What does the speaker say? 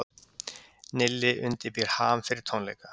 Nilli undirbýr HAM fyrir tónleika